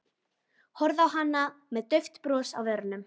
Horfði á hana með dauft bros á vörunum.